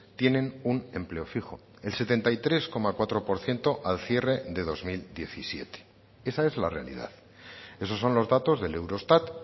tienen un empleo fijo el setenta y tres coma cuatro por ciento al cierre de dos mil diecisiete esa es la realidad esos son los datos del eurostat